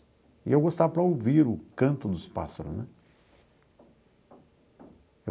E eu gostava para ouvir o canto dos pássaros, né?